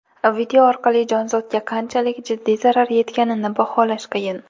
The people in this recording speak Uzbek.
Video orqali jonzotga qanchalik jiddiy zarar yetganini baholash qiyin.